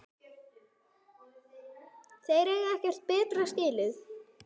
Þeir eiga ekkert betra skilið